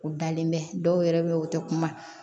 U dalen bɛ dɔw yɛrɛ bɛ yen o tɛ kuma